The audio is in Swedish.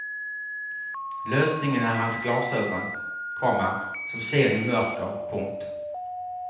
Lösningen är hans glasögon, komma som ser i mörker. punkt